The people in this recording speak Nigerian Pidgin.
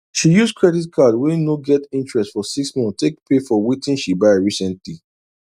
she use credit card wey no get interest for six months take pay for wetin she buy recently